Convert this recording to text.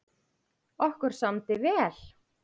Okkur samdi vel.